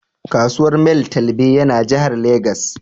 Kasuwar Mile twelbe ya na Jahar Legas